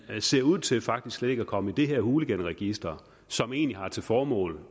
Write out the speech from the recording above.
ind ser ud til faktisk slet ikke at komme i det her hooliganregister som egentlig har til formål